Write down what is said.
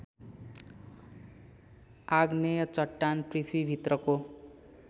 आग्नेय चट्टान पृथ्वीभित्रको